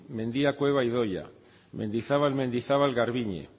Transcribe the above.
mendia cueva idoia mendizabal mendizabal garbiñe